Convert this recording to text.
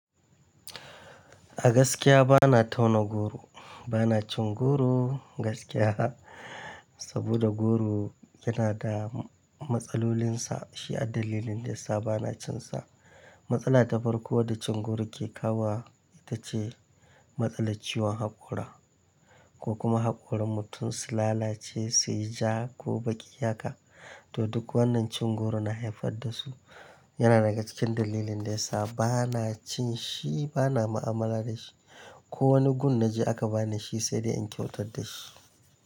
A gaskiya bana tauna goro, bana cin goro gaskiya saboda goro yana da matsalolinsa. Shi addalilin da yasa bana cin sa. Matsala ta farko da cin goro ke kawo ita ce matsalar ciwon haƙora ko kuma haƙorin mutum su lalace, suyi ja ko baki yaƙa. To duk wannan cin goro na haifar da su. Yana daga cikin dalilin da yasa bana cin shi, bana mu'amala da shi. Ko wani gun na je aka bani shi sai dai in kyautar da shi.